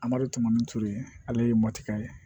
A malo tɔmɔtu ye ale ye mɔtika ye